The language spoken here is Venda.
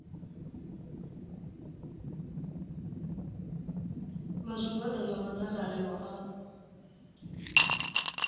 vha zwigwada zwa madzangalelo o